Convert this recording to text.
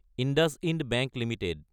IndusInd bank Ltd